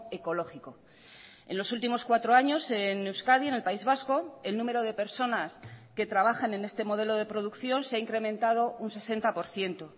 ecológico en los últimos cuatro años en euskadi en el país vasco el número de personas que trabajan en este modelo de producción se ha incrementado un sesenta por ciento